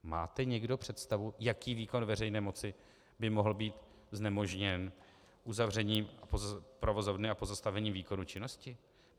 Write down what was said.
Máte někdo představu, jaký výkon veřejné moci by mohl být znemožněn uzavřením provozovny a pozastavením výkonu činnosti?